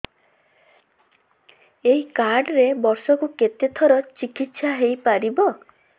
ଏଇ କାର୍ଡ ରେ ବର୍ଷକୁ କେତେ ଥର ଚିକିତ୍ସା ହେଇପାରିବ